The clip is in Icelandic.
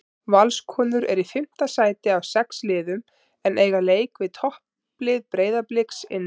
Valskonur eru í fimmta sæti af sex liðum en eiga leik við topplið Breiðabliks inni.